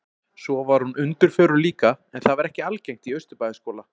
Svo var hún undirförul líka, en það var ekki algengt í Austurbæjarskóla.